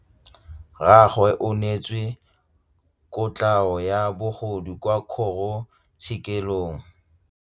Rragwe o neetswe kotlhaô ya bogodu kwa kgoro tshêkêlông.